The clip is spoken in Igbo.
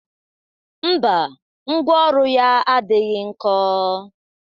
Mba, ngwa ọrụ ya adighọ nkọ